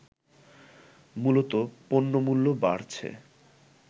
মূলত পণ্যমূল্য বাড়ছে